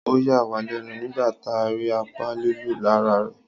Ọ yà wá lẹ́nu nígbà tá rí apá lílu lára rè